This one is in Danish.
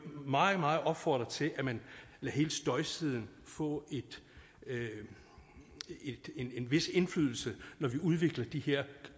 meget meget opfordre til at man lader hele støjsiden få en vis indflydelse når vi udvikler de her